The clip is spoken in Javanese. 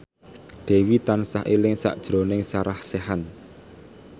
Dewi tansah eling sakjroning Sarah Sechan